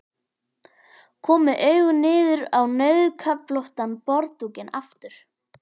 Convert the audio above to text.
Kom með augun niður á rauðköflóttan borðdúkinn aftur.